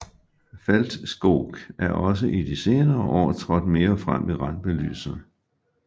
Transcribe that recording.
Fältskog er også i de senere år trådt mere frem i rampelyset